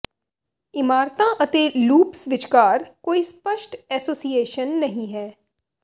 ਇਮਾਰਤਾਂ ਅਤੇ ਲੂਪਸ ਵਿਚਕਾਰ ਕੋਈ ਸਪਸ਼ਟ ਐਸੋਸੀਏਸ਼ਨ ਨਹੀਂ ਹੈ